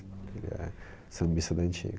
Ele é sambista da antiga.